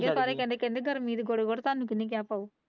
ਕਹਿੰਦੇ ਗਰਮੀ ਦੇ ਕੋਲ